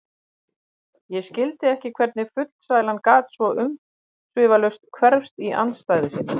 Ég skildi ekki hvernig fullsælan gat svo umsvifalaust hverfst í andstæðu sína.